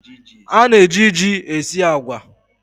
A na-eji ji esi agwa.